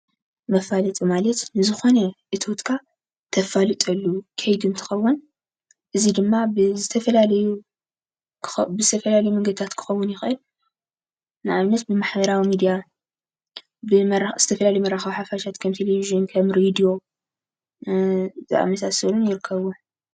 መፋለጢ ማለት ንዝኮነ እቶትካ እተፋልጠሉ ከይዲ እንትከውን እዚ ድማ ብዝተፈላለዩ መንገድታት ክኮን ይክእል:: ንኣብነት ብማሕበራዊ ሚድያ ዝተፈላለዩ መራከቢ ሓፋሻት ቴሌቭዥን ከም ሬድዮ ዝኣምሳሰሉን ይርከቡ፡፡